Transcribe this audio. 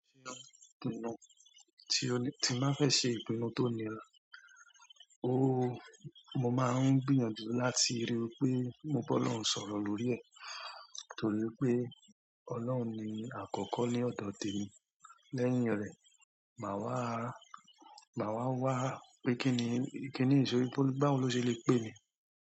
Ti o ni, ti ma fe se ìpinnu tòní rà, ooo, mo ma n gbìyànjú láti ri wípé bọ́ lohún ṣọ̀rọ̀ lórí ẹ̀, torí pé Ọlọ́run ni àkọ́kọ́ ní ọ̀dọ̀ ti emi. Lẹ́yìn rẹ̀, mà wàá, mà wàá wá pé kíni, kíni ṣòri tí báwo lọ ṣe le pè mi.